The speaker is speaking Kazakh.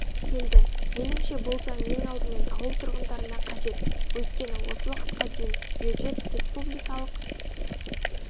келді меніңше бұл заң ең алдымен ауыл тұрғындарына қажет өйткені осы уақытқа дейін бюджет республикалық